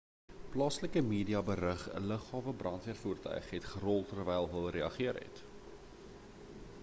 plaaslike media berig 'n lughawe brandweervoertuig het gerol terwyl hul gereageer het